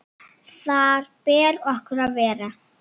Þar ber okkur að vera!